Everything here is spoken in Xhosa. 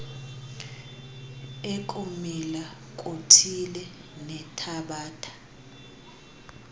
ekumila kuthile nethabatha